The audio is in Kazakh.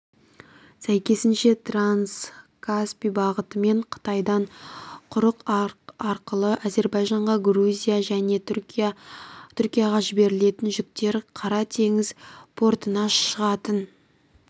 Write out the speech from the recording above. сәйкесінше транскаспий бағытымен қытайдан құрық арқылы әзербайжанға грузияға және түркияға жіберілетін жүктер қара теңіз портына шығатын